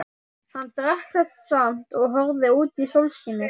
Hann drakk það samt og horfði út í sólskinið.